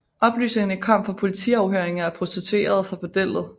Oplysningerne kom fra politiafhøringer af prostituerede fra bordellet